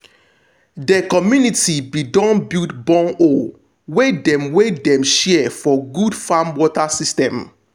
de community be don build bornhole wey dem wey dem share for good farm water system.